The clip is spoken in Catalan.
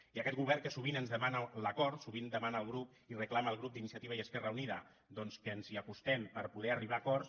i aquest govern que sovint ens demana l’acord sovint demana al grup i reclama al grup d’iniciativa i esquerra unida doncs que ens hi acostem per poder arribar a acords